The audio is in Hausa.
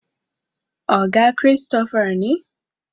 oga Christopher ne